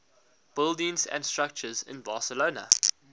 buildings and structures in barcelona